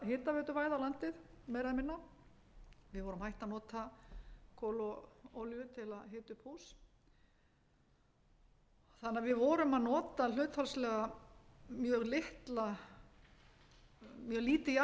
hitaveituvæða landið meira eða minna við vorum hætt að nota kol og olíur til að hita upp hús þannig að við vorum að átta hlutfallslega mjög lítið